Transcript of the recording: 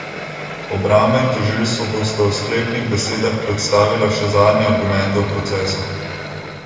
Obramba in tožilstvo bosta v sklepnih besedah predstavila še zadnje argumente v procesu.